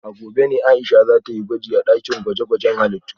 A gobe ne Aisha za ta yi gwaji a dakin gwaje-gwajen halittu